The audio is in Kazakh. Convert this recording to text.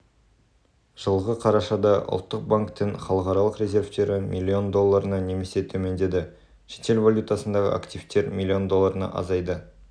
жылғы қарашада ұлттық банктің халықаралық резервтері млн долларына немесе төмендеді шетел валютасындағы активтер млн долларына азайды